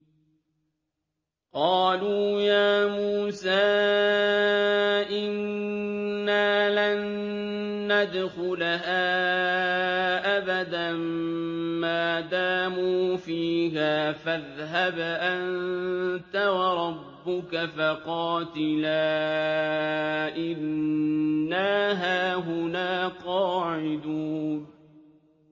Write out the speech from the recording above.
قَالُوا يَا مُوسَىٰ إِنَّا لَن نَّدْخُلَهَا أَبَدًا مَّا دَامُوا فِيهَا ۖ فَاذْهَبْ أَنتَ وَرَبُّكَ فَقَاتِلَا إِنَّا هَاهُنَا قَاعِدُونَ